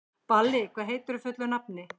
Balli, hvað heitir þú fullu nafni?